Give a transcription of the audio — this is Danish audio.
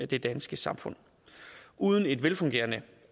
det danske samfund uden et velfungerende